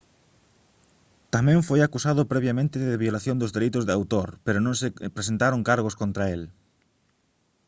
tamén foi acusado previamente de violación dos dereitos de autor pero non se presentaron cargos contra el